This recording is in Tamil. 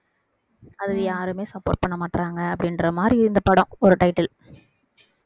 அது யாருமே support பண்ண மாட்டாங்க அப்படின்ற மாதிரி இந்த படம் ஒரு title